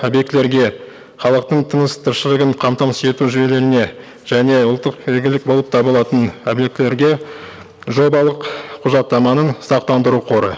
объектілерге халықтың тыныс тіршілігін қамтамасыз ету жүйелеріне және ұлттық игілік болып табылатын объектілерге жобалық құжаттаманың сақтандыру қоры